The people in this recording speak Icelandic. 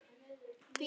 Fíknin var þannig.